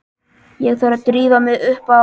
Ég þarf að drífa mig upp á